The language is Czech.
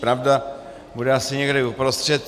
Pravda bude asi někde uprostřed.